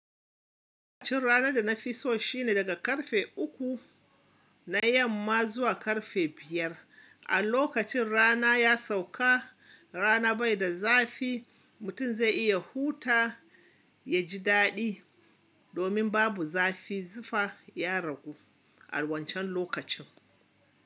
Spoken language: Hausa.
Lokacin rana da na fi so shi ne daga karfe uku na yamma zuwa karfe biyar. A lokacin rana ya sauka, rana bai da zafi, mutum zai iya huta, ya ji daɗi domin babu zafi. Zufa ya ragu a wancan lokacin.